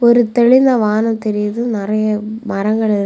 ஒருத்தெளுல வானம் தெரிது நெறய மரங்கள் இருக்.